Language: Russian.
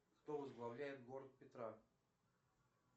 кто возглавляет город петра